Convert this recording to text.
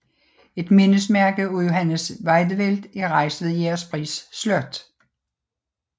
Et mindesmærke af Johannes Wiedewelt er rejst ved Jægerspris Slot